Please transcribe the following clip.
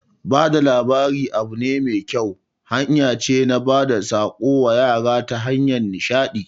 Bada labari abu ne mai kyau, hanya ce na bada tsako wa yara ta hanyar nishadi